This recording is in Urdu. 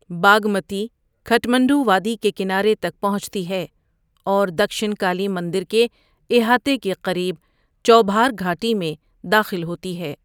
باگمتی کھٹمنڈو وادی کے کنارے تک پہنچتی ہے اور دکشنکالی مندر کے احاطے کے قریب چوبھار گھاٹی میں داخل ہوتی ہے۔